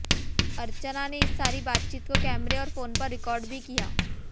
अर्चना ने इस सारी बातचीत को कैमरे और फोन पर रिकॉर्ड भी किया